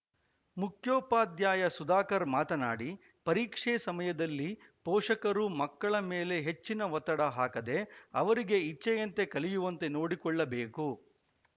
ಮುಖ್ಯೋಪಾದ್ಯಾಯ ಸುಧಾಕರ್‌ ಮಾತನಾಡಿ ಪರೀಕ್ಷೆ ಸಮಯದಲ್ಲಿ ಪೋಷಕರು ಮಕ್ಕಳ ಮೇಲೆ ಹೆಚ್ಚಿನ ಒತ್ತಡ ಹಾಕದೆ ಅವರಿಗೆ ಇಚ್ಛೆಯಂತೆ ಕಲಿಯುವಂತೆ ನೋಡಿಕೊಳ್ಳಬೇಕು